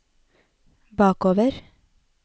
bakover